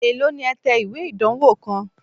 Èló ni ẹ̀ ń tẹ ìwé ìdánwó kan?